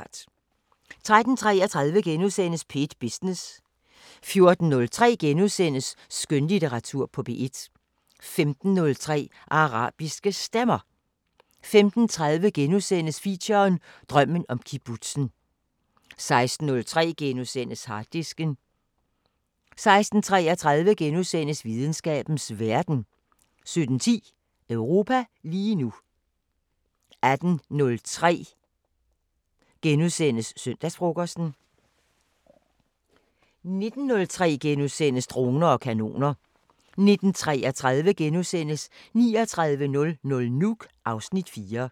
13:33: P1 Business * 14:03: Skønlitteratur på P1 * 15:03: Arabiske Stemmer 15:30: Feature: Drømmen om kibbutzen * 16:03: Harddisken * 16:33: Videnskabens Verden * 17:10: Europa lige nu 18:03: Søndagsfrokosten * 19:03: Droner og Kanoner * 19:33: 3900 Nuuk (Afs. 4)*